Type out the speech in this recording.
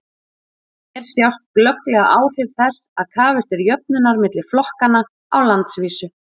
hér sjást glögglega áhrif þess að krafist er jöfnunar milli flokkanna á landsvísu